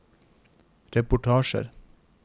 reportasjer